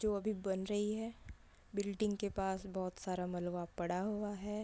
जो अभी बन रही है बिल्डिंग के पास बहुत सारा मलबा पड़ा हुआ है |